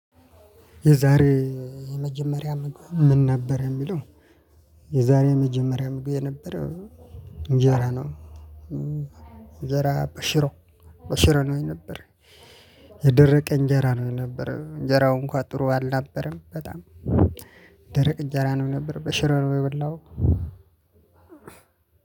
የዛሬ የመጀመሪያ ምግብ ምን ነበር የሚለው? የዛሬ የመጀመሪያ ምግቤ የነበረው እንጀራ ነው እንጀራ በሽሮ በሽሮ ነው የነበረው። የደረቀ እንጀራ ነው የነበረው እንጀራው እንኳን ጥሩ አልነበረም በጣም። ደረቀ እንጀራ ነው የነበር በሽሮ ነው የበላሁት።